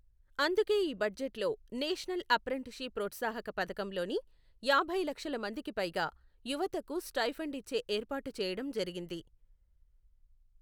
అందుకే ఈ బడ్జెట్లో నేషనల్ అప్రెంటిస్షి ప్ప్రోత్సాహక పథకంలోని యాభై లక్షల మందికి పైగా, యువతకు స్టైఫెండ్ ఇచ్చే ఏర్పాటు చేయడం జరిగింది .